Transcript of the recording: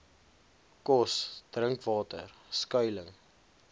kos drinkwater skuiling